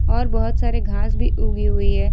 और बहौत सारे घांस भी उगी हुई है।